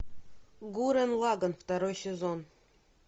гуррен лаганн второй сезон